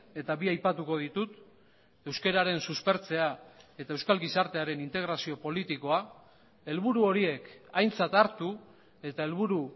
eta bi aipatuko ditut euskararen suspertzea eta euskal gizartearen integrazio politikoa helburu horiek aintzat hartu eta helburu